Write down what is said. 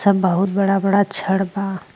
सब बहुत बड़ा-बड़ा छड़ बा।